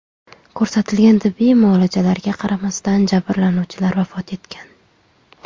Ko‘rsatilgan tibbiy muolajalarga qaramasdan jabrlanuvchilar vafot etgan.